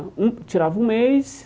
Um Eu tirava um mês,